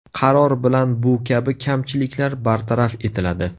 Qaror bilan bu kabi kamchiliklar bartaraf etiladi.